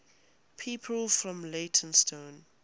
people from leytonstone